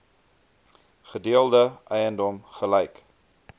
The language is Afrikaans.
gedeelde eiendom gelyk